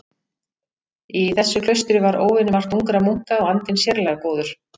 Í þessu klaustri var óvenjumargt ungra munka og andinn sérlega góður.